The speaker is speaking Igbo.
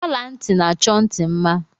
Ola nti n'achọ nti mma